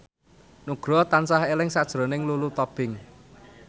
Nugroho tansah eling sakjroning Lulu Tobing